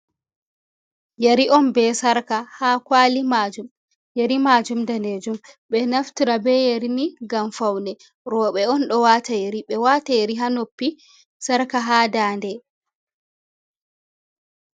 Yari on be sarka ha kwali majum, yari majum daneejum. Ɓe naftira be yari ni ngam faune. rooɓe on ɗo wata yari, ɓe wata yari ha noppi, sarka ha dannde.